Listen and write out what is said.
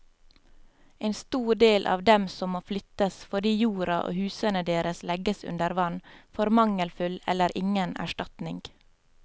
En stor del av dem som må flyttes fordi jorda og husene deres legges under vann, får mangelfull eller ingen erstatning.